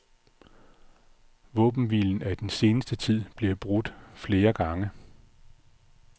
Våbenhvilen er i den seneste tid blevet brudt flere gange.